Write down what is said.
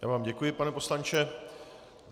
Já vám děkuji, pane poslanče.